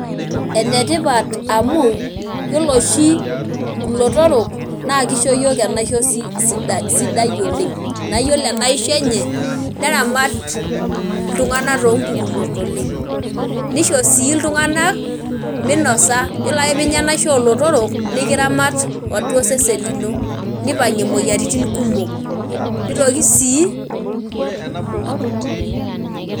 Enetipat amu yiolo oshi ilotorok naa kisho yiok enaisho si sidai sidai oleng, naa yiolo enaisho enye , neramat iltunganak too mpukunot oleng nisho sii iltunganak minosa, yiolo ake pinya enaisho olotorok nikiramat atua osesen lino, nipangie moyiaritin kumok, nitoki sii.